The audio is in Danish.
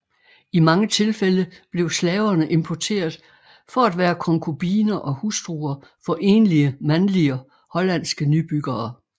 I mange tilfælde blev slaverne importeret for at være konkubiner og hustruer for enlige mandlige hollandske nybyggere